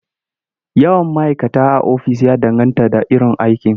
Yawan ma'kata a ofis ya danganta da iron aiki..